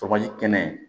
Tɔgɔji kɛnɛ